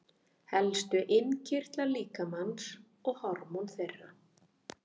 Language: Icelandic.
Helstu innkirtlar líkamans og hormón þeirra.